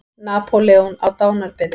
Napóleon á dánarbeði.